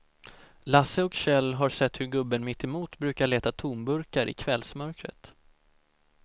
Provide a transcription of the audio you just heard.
Lasse och Kjell har sett hur gubben mittemot brukar leta tomburkar i kvällsmörkret.